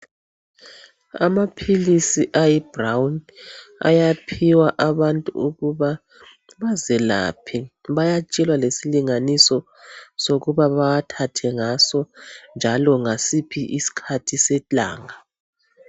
Amaphilisi ayi brown ayaphiwa abantu ukuba bazelaphe bayatshelwa lesilinganiso sokuba bawathathe ngaso njalo ngasiphi isikhathi selanga.